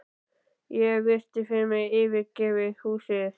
Ég virti fyrir mér yfirgefið húsið.